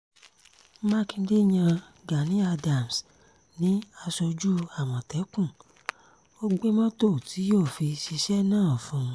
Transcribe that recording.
mákindé yan gani adams ní aṣojú àmọ̀tẹ́kùn ó gbé mọ́tò tí yóò fi ṣiṣẹ́ náà fún un